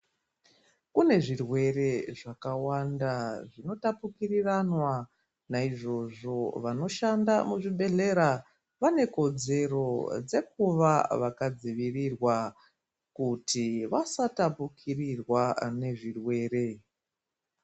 Kune zvirwere zvakawanda zvinotapukirwana naizvozvo vanoshanda muzvibhedhlera vane kodzero dzekuva vakadzivirirwa kuti vasatapukirirwa nezvirwere.